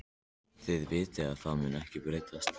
Þið vitið að það mun ekkert breytast.